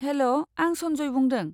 हेल', आं सन्जय बुंदों।